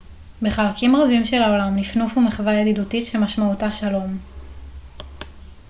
בחלקים רבים של העולם נפנוף הוא מחווה ידידותית שמשמעותה שלום